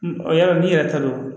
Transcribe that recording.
Ɔ yalɔ n'i yɛrɛ talo